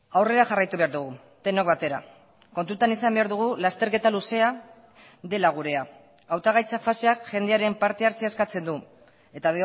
aurrera jarraitu behar dugu denok batera kontutan izan behar dugu lasterketa luzea dela gurea hautagaitza faseak jendearen partehartzea eskatzen du eta